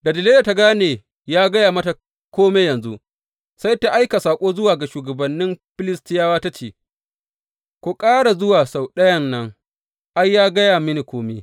Da Delila ta gane ya gaya mata kome yanzu, sai ta aika saƙo zuwa ga shugabannin Filistiyawa ta ce, Ku ƙara zuwa sau ɗayan nan, ai, ya gaya mini kome.